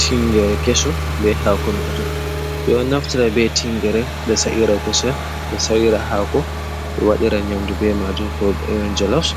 Tingere kesum ɓe hako majum. Ɓe do naftara be tingere be sa’ira kusel, be sa’ira hako, be waɗira nyamɗu ɓe majum ko e jelos.